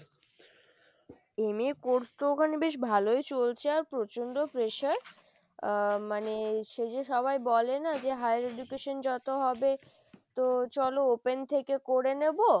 MA course তো ওখানে বেশ ভালোই চলছে আর প্রচন্ড pressure আহ মানে সেই যে সবাই বলে না যে higher education যত হবে তো চলো open থেকে করে নেবো।